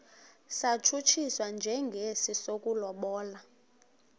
satshutshiswa njengesi sokulobola